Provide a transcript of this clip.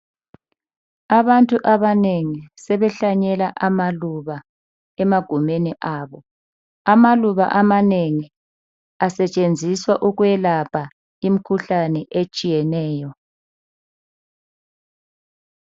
Abantu abanengi sebehlanyela amaluba emagumeni abo. Amaluba amanengi asetshenziswa ukwelapha imkhuhlane etshiyeneyo.